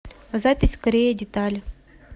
запись корея деталь